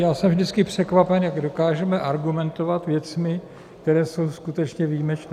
Já jsem vždycky překvapen, jak dokážeme argumentovat věcmi, které jsou skutečně výjimečné.